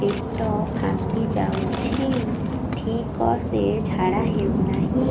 ପେଟ ଫାମ୍ପି ଯାଉଛି ଠିକ ସେ ଝାଡା ହେଉନାହିଁ